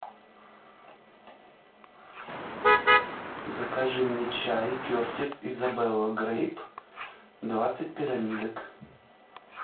закажи мне чай кертис изабелла грейп двадцать пирамидок